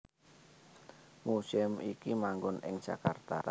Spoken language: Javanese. Museum iki manggon ing Jakarta